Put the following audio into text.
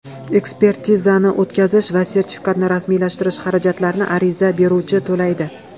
Ekspertizani o‘tkazish va sertifikatni rasmiylashtirish xarajatlarini ariza beruvchi to‘laydi.